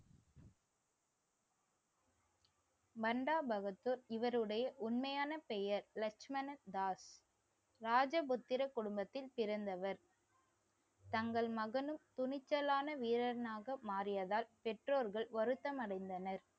மந்தா பகதூர் இவருடைய உண்மையான பெயர் லட்சுமண தாஸ். ராஜபுத்திர குடும்பத்தில் பிறந்தவர் தங்கள் மகனும் துணிச்சலான வீரனாக மாறியதால் பெற்றோர்கள் வருத்தம் அடைந்தனர்